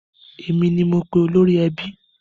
Èmi ni mo pe olórí ẹbí.